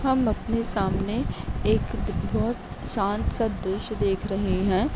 हम अपने सामने एक बोहोत शान्त सा दृश्य देख रहे हैं।